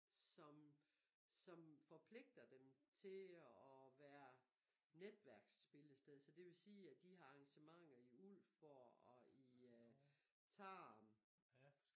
Som som forpligter dem til at være netværksspillested så det vil sige at de har arrangementer i Ulfborg og i øh Tarm